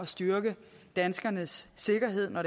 styrke danskernes sikkerhed når